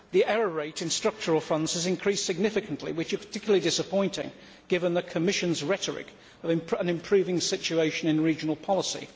The error rate in Structural Funds has increased significantly, which is particularly disappointing given the Commission's rhetoric on improving the situation in regional policy.